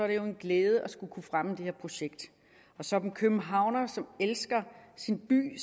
det jo en glæde at skulle kunne fremme det her projekt og som københavner der elsker sin by